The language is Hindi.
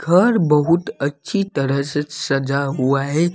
घर बहुत अच्छी तरह से सजा हुआ है।